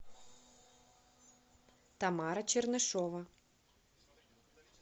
тамара чернышева